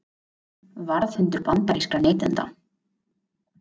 Varðhundur bandarískra neytenda